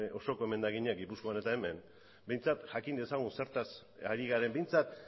osoko emendakinak gipuzkoan eta hemen behintzat jakin dezagun zertaz ari garen behintzat